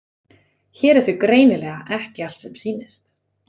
Hér er því greinilega ekki allt sem sýnist.